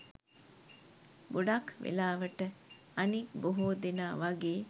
ගොඩක් වෙලාවට අනික් බොහෝ දෙනා වගේ